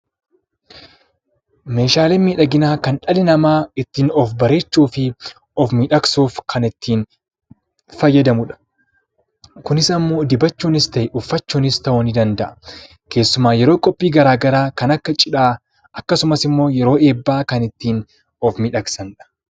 Meeshaaleen miidhaginaa kan dhalli namaa ittiin of bareechuu fi of miidhagsuuf kan ittiin fayyadamudha. Kunis immoo dibachuunis ta'ee uffachuunis ta'uu ni danda'a. Keessumaa yeroo qophii garaagaraa kan akka cidhaa akkasumas immoo kan yeroo eebbaa ittiin of miidhagsanidha.